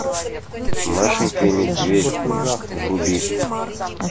машенька и медведь вруби